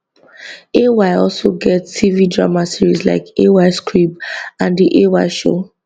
ay also get tv drama series like ays crib and the ay show